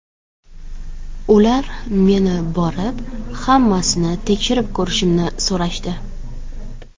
Ular meni borib, hammasini tekshirib ko‘rishimni so‘rashdi.